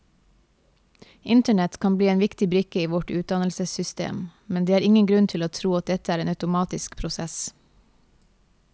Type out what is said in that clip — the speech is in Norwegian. Internett kan bli en viktig brikke i vårt utdannelsessystem, men det er ingen grunn til å tro at dette er en automatisk prosess.